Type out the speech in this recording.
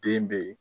Den be yen